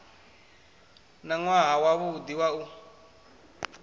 na nwaha wavhudi wa u